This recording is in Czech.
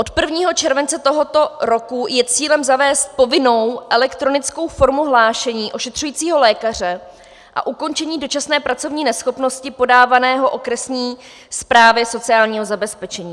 Od 1. července tohoto roku je cílem zavést povinnou elektronickou formu hlášení ošetřujícího lékaře a ukončení dočasné pracovní neschopnosti podávaného okresní správě sociálního zabezpečení.